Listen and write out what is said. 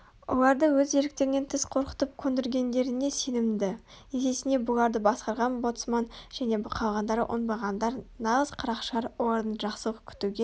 оларды өз еріктерінен тыс қорқытып көндіргендеріне сенімді есесіне бұларды басқарған боцман және қалғандары оңбағандар нағыз қарақшылар олардан жақсылық күтуге